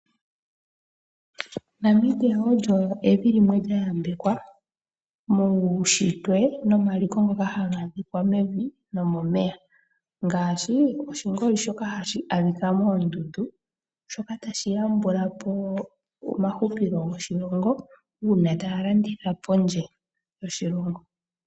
Namibia olyo evi limwe lya yambekwa muunshitwe nomaliko ngono haga adhika mevi nomomeya. Ngaashi oshingoli shoka hashi adhika moondundu shoka tashi yambula po omahupilo goshilongo uuna taya landitha pondje yoshilongo.